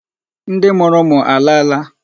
Ndị mụrụ ụmụ alaala?